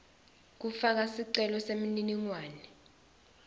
kufaka sicelo semininingwane